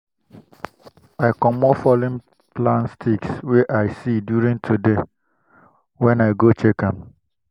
i comot fallen plant sticks wey i see during today when i go check am.